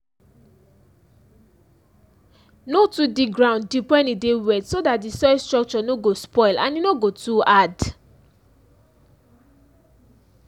no too dig ground deep wen e dey wet so dat di soil structure no go spoil and e no go too hard